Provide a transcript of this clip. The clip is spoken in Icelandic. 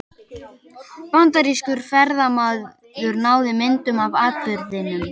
Bandarískur ferðamaður náði myndum af atburðinum